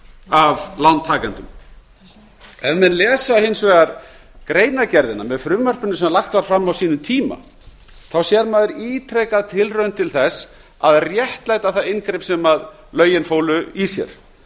af lántakendum ef menn lesa hins vegar greinargerðina með frumvarpinu sem lagt var fram á sínum tíma sér maður ítrekað tilraun til þess að réttlæta það inngrip sem lögin fólu í sér